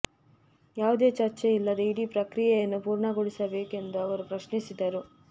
ಯಾವುದೇ ಚರ್ಚೆ ಇಲ್ಲದೆ ಇಡೀ ಪ್ರಕ್ರಿಯೆಯನ್ನು ಪೂರ್ಣಗೊಳಿಸಬೇಕಾ ಎಂದು ಅವರು ಪ್ರಶ್ನಿಸಿದರು